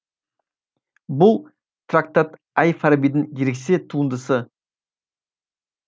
бұл трактат әл фарабидің ерекше туындысы